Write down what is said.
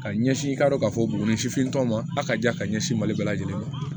Ka ɲɛsin i k'a dɔn k'a fɔ buguni sifintɔ ma a ka diya ka ɲɛsin mali bɛɛ lajɛlen ma